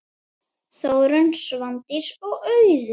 Þórunn, Svandís og Auður.